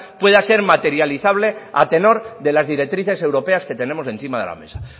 pueda ser materializable a tenor de las directrices europeas que tenemos encima de la mesa